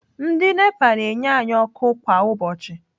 Ndị Nepa na-enye anyị ọkụ kwa ụbọchị.